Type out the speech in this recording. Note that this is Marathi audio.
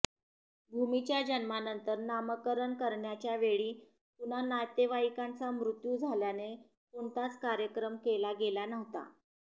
भूमीच्या जन्मानंतर नामकरण करण्याच्यावेळी कुणा नातेवाईकाचा मृत्यू झाल्याने कोणताच कार्यक्रम केला गेला नव्हता